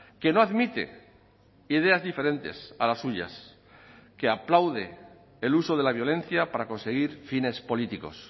que no admite ideas diferentes a las suyas que aplaude el uso de la violencia para conseguir fines políticos